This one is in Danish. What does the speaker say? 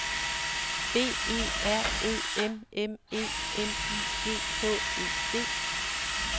B E R Ø M M E L I G H E D